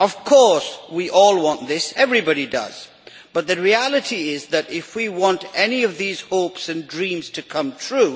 Of course we all want this, everybody does, but the reality is that if we want any of these hopes and dreams to come true,